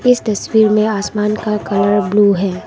इस तस्वीर में आसमान का कलर ब्लू है।